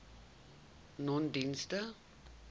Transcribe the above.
nonedienste